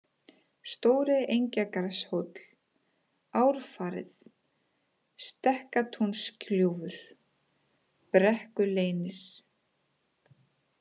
Stóri-Engjagarðshóll, Árfarið, Stekkatúnsgljúfur, Brekkuleynir